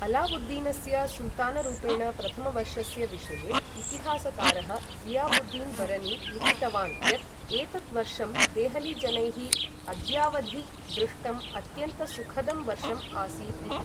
अलावुुद्दीनस्य सुल्तानरूपेण प्रथमवर्षस्य विषये, इतिहासकारः ज़ियावुद्दीन् बरनी लिखितवान् यत् एतत् वर्षं देहलीजनैः अद्यावधि दृष्टं अत्यन्तसुखदं वर्षम् आसीत् इति।